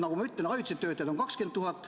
Nagu ma ütlesin, ajutisi töötajad on 20 000.